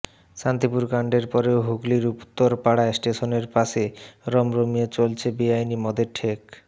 শান্তিপুর কাণ্ডের পরেও হুগলির উত্তরপাড়ায় স্টেশনের পাশে রমরমিয়ে চলছে বেআইনি মদের ঠেক